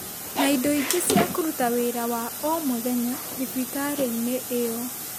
na indo ingĩ cia kũruta wĩra wa o mũthenya thibitarĩ-inĩ iyo.